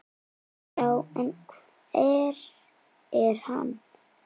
Já, en hver er hann?